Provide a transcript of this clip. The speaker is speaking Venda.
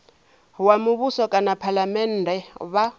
wa muvhuso kana phalamennde vha